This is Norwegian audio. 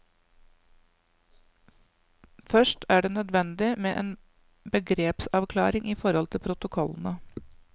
Først er det nødvendig med en begrepsavklaring i forhold til protokollene.